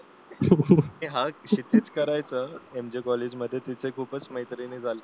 नाही हा क्षितिज करायचा त्यांच्या कॉलेजमध्ये खूपच मैत्रिणी झाल्या होत्या